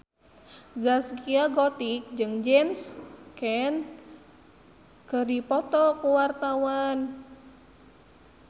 Zaskia Gotik jeung James Caan keur dipoto ku wartawan